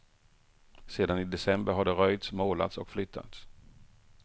Sedan i december har det röjts, målats och flyttats.